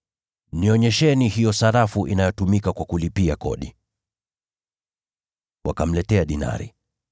Nionyesheni hiyo sarafu inayotumika kwa kulipia kodi.” Wakamletea dinari.